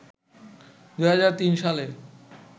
২০০৩ সালে